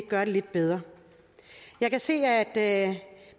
gøre det lidt bedre jeg kan se at at